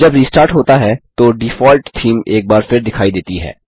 जब रिस्टार्ट होता है तो डिफ़ॉल्ट थीम एक बार फिर दिखाई देती है